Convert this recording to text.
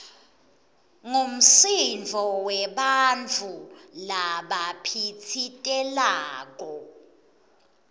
ngumsindvo webantfu labaphitsitelako